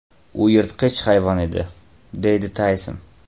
U yirtqich hayvon edi”, deydi Tayson.